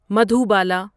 Madhubala